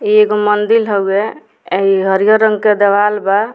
एगो मंदिर हवे इ हरियर रंग के दवाल बा।